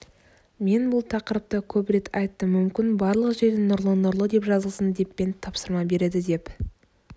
мен бұл тақырыпта көп рет айттым мүмкін барлық жерде нұрлы-нұрлы деп жазылсын депмен тапсырма береді деп